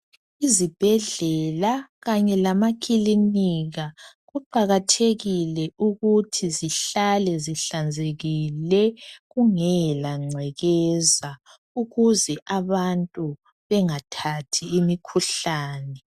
Izibhedlela kanye lamakilinika kuqakathekile ukuthi zihlale zihlanzekile kungela ngcekeza ukuze abantu bengathathi imikhuhlane.